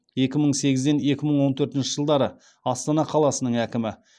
екі мың сегізден екі мың он төртінші жылдары астана қаласының әкімі